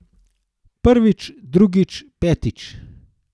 Prvič, drugič, petič!